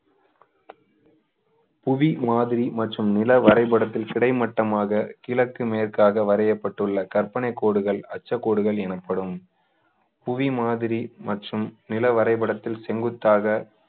புவி மாதிரி மற்றும் நில வரைபடத்தில் கிடைமட்டமாக கிழக்கு மேற்காக வரையப்பட்டுள்ள கற்பனைக் கோடுகள் அச்சக்கோடுகள் எனப்படும் புவி மாதிரி மற்றும் நில வரைபடத்தில் செங்குத்தாக